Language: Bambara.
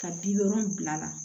Ka bi wolonwula la